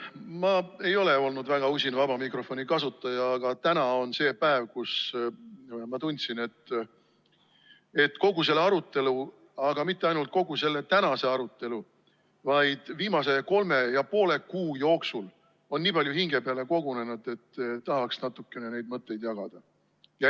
Ma ei ole olnud väga usin vaba mikrofoni kasutaja, aga täna on see päev, kus ma tundsin, et kogu selle arutelu, aga mitte ainult kogu selle tänase arutelu, vaid viimase kolme ja poole kuu jooksul on nii palju hinge peale kogunenud, et tahaks natukene neid mõtteid jagada.